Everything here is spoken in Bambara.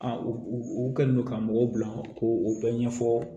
u u kɛlen don ka mɔgɔw bila k'o u bɛɛ ɲɛfɔ